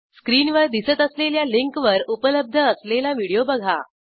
स्क्रीनवर दिसत असलेल्या लिंकवर उपलब्ध असलेला व्हिडिओ बघा